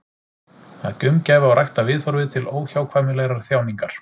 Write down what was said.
Að gaumgæfa og rækta viðhorfið til óhjákvæmilegrar þjáningar.